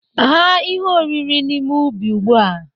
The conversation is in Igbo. Ghaa ihe oriri n'ime ubi ugbu a!